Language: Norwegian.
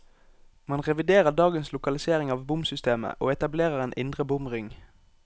Man reviderer dagens lokalisering av bomsystemet, og etablerer en indre bomring.